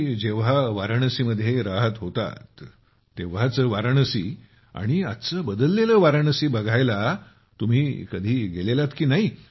तुम्ही जेव्हा वाराणसी मध्ये राहत होता तेव्हाचे वाराणसी आणि आजचे वाराणसी यातील बदल तुम्ही पाहायला की नाही